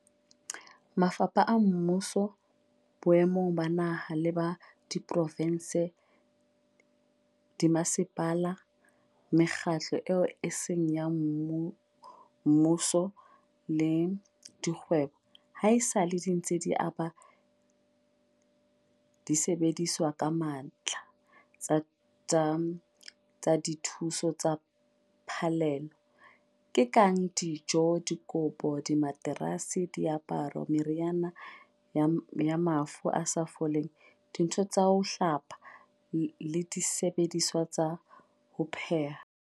Mafapha a mmuso boemong ba naha le ba diprovense, dimmasepala, mekgatlo eo e seng ya mmuso le dikgwebo, haesale di ntse di aba disebediswa tsa mantlha tsa dithuso tsa phallelo tse kang dijo, dikobo, dimaterase, diaparo, meriana ya mafu a sa foleng, dintho tsa ho hlapa le disebediswa tsa ho pheha.